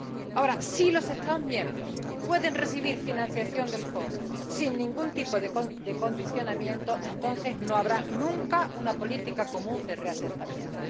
Ahora, si los Estados miembros pueden recibir financiación del Fondo sin ningún tipo de condicionamiento, entonces no habrá nunca una política común de reasentamiento.